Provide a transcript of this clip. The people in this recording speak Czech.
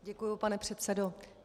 Děkuji, pane předsedo.